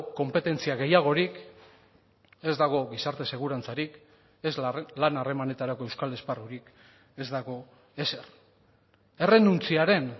konpetentzia gehiagorik ez dago gizarte segurantzarik ez lan harremanetarako euskal esparrurik ez dago ezer errenuntziaren